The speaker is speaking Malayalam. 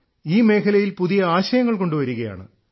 ഈ മേഖലയിൽ പുതിയ ആശയങ്ങൾ കൊണ്ടുവരികയാണ്